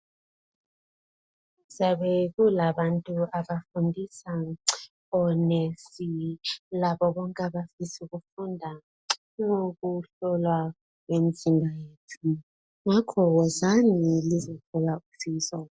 Kuyabe kulabantu abafundisa onesi, labo bonk' abafisa ukufunda ukuhlolwa kwemzimba yethu. Ngakho wozani lizothola usizo.